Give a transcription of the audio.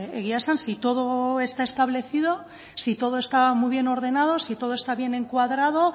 egia esan si todo está establecido si todo está muy bien ordenado si todo está bien encuadrado